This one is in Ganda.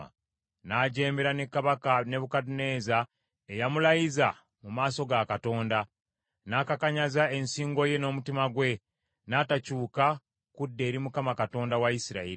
N’ajeemera ne kabaka Nebukadduneeza eyamulayiza mu maaso ga Katonda. N’akakanyaza ensingo ye n’omutima gwe, n’atakyuka kudda eri Mukama Katonda wa Isirayiri.